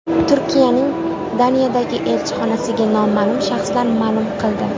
Turkiyaning Daniyadagi elchixonasiga noma’lum shaxslar hujum qildi.